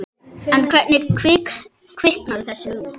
En hvernig kviknaði þessi hugmynd?